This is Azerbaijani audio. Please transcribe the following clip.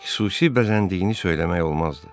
Xüsusi bəzəndiyini söyləmək olmazdı.